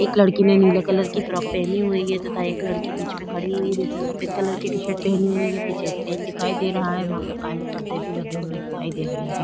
एक लड़की ने नीले कलर की फ्रॉक पहनी हुई है तथा एक लड़की बीच में खड़ी हुई है जिसने सफ़ेद कलर की टी-शर्ट पहनी हुई है पीछे स्टेज दिखाई दे रहा है वहां पर काले परदे भी लगे हुए दिखाई दे रहे है।